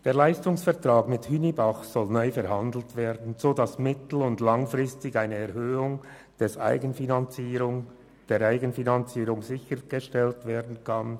Der Leistungsvertrag mit Hünibach soll nun neu verhandelt werden, sodass mittel- und langfristig eine Erhöhung der Eigenfinanzierung sichergestellt werden kann.